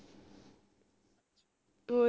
ਹੋਰ